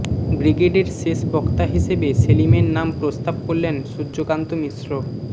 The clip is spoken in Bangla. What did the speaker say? ব্রিগেডের শেষ বক্তা হিসেবে সেলিমের নাম প্রস্তাব করলেন সূর্যকান্ত মিশ্র